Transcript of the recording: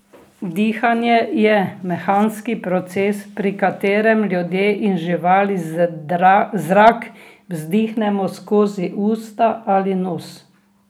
Dihanje je mehanski proces, pri katerem ljudje in živali zrak vdihnemo skozi usta ali nos.